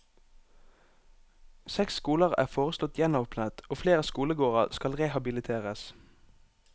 Seks skoler er foreslått gjenåpnet og flere skolegårder skal rehabiliteres.